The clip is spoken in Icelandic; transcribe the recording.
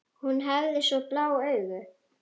Hún hafði svo blá augu.